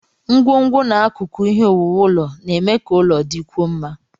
Ngwongwo na akụkụ ihe owuwu ụlọ na-eme ka ụlọ dịkwuo mma.